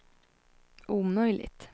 omöjligt